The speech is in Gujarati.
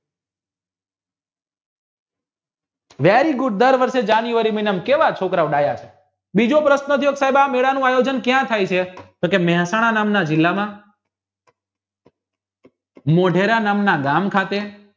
very good દર વર્ષ જાન્યુઆરી મહિનામાં કેવા છોકરાવ ડાયા છે બીજો પ્રશ્ન છે મેળા નું આયોજન ક્યાં થાય છે તો કી મહેસાણા નામના જિલ્લામાં મોઢેરા નામના ગામ ખાતે